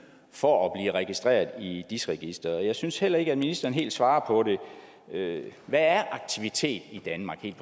for at blive registreret i dis registeret jeg synes heller ikke at ministeren helt svarer på det hvad er aktivitet i danmark helt